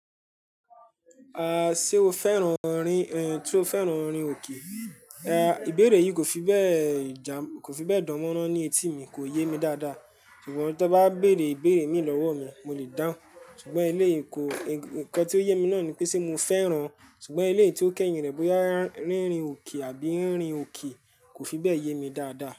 Sé o féràn orin, tí ó féràn orin òkè, ìbéèrè yìí kò fi bẹ́ẹ̀, kò fi bẹ́ẹ̀ dán mọ́rán ní etí mi, kò yé mi dáadáa, ṣùgbọ́n tí wọ́n bá béèrè ìbéèrè mí lọ́wọ́ mi, mo lè dáhùn. Ṣùgbọ́n eléyi kó, nǹkan tí ó yé mi náà ni pé sé mo féràn, ṣùgbọ́n ilé tí ó kẹ́yin rẹ̀ bóyá rínrin òkè àbí rínrin òkè kò fi bẹ́ẹ̀ yé mi dáadáa.